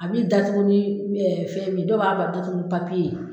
A bɛ datugu ni fɛn min ye dɔw b'a bɛ datugu ni papiye ye.